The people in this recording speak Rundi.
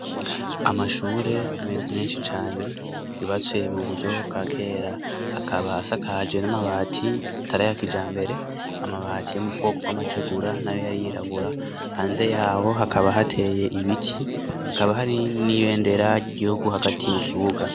Amashure menshi cane yubatse mu buryo bwa kera akaba asakaje n'amabati atari aya kijambere, amabati yo mubwoko bw'amategura nayo yari yirabura, hanze yaho hakaba hateye ibiti, hakaba hari n'ibendera ry'igihugu hagati mu kibuga.